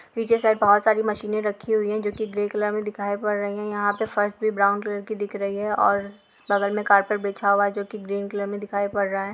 पीछे साइड बहुत सारी मशीनें रखी हुई है जो कि ग्रे कलर मे दिखाई पड़ रही है यहां पे फर्श भी ब्राउन कलर की दिख रही है और बगल मे कार्पेट बिछा हुआ है जो कि ग्रीन कलर मे दिखाई पड़ रहा है।